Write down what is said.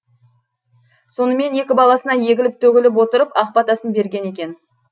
сонымен екі баласына егіліп төгіліп отырып ақ батасын берген екен